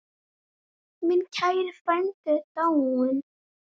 Minn kæri frændi er dáinn.